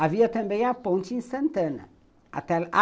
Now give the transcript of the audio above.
Havia também a ponte em Santana.